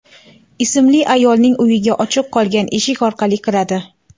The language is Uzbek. ismli ayolning uyiga ochiq qolgan eshik orqali kiradi.